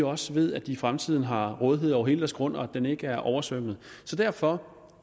også ved at de i fremtiden har rådighed over hele deres grund og at den ikke er oversvømmet derfor